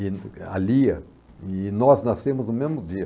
a Lia, e nós nascemos no mesmo dia.